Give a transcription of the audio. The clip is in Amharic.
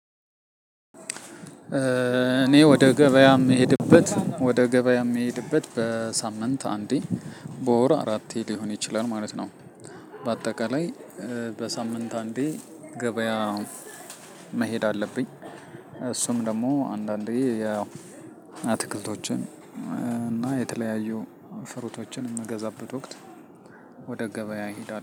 እኔ ወደ ገበያም የምሄድበት ወደ ገበያም የምሄድበት በሳምንት አንዴ በወር አራቴ ሊሆን ይችላል ማለት ነው። በአጠቃላይ በሳምንት አንዴ ገበያ መሄድ አለብኝ። እሱም ደግሞ አንዳንዴ ያው አትክልቶችን እና የተለያዩ ፍሩቶችን ምገዛበት ወቅት። ወደ ገበያ ይሄዳል